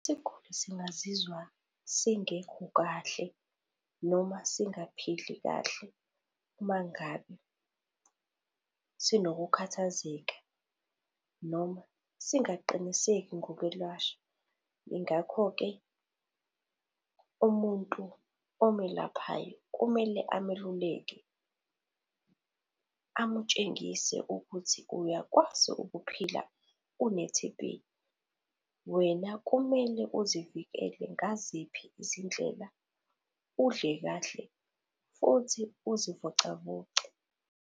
Isiguli singingazizwa singekho kahle noma singaphili kahle uma ngabe sinokukhathazeka, noma singaqiniseki ngokwelashwa. Yingakho-ke, umuntu omelaphayo kumele ameluleke, amutshengise ukuthi uyakwazi ukuphila une-T_B. Wena kumele uzivikele ngaziphi izindlela, udle kahle futhi uzivocavoce.